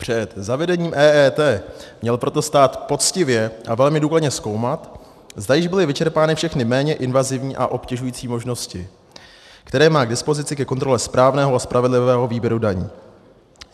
Před zavedením EET měl proto stát poctivě a velmi důkladně zkoumat, zda již byly vyčerpány všechny méně invazivní a obtěžující možnosti, které má k dispozici ke kontrole správného a spravedlivého výběru daní.